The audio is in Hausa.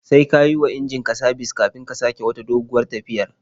Sai ka yi wa injin ka sabis kafin ka sake wata doguwar tafiyar.